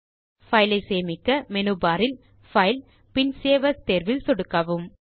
பைலை சேமிக்க menu bar இல் பைல் பின் சேவ் ஏஎஸ் தேர்வில் சொடுக்கவும்